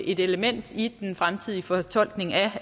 et element i den fremtidige fortolkning af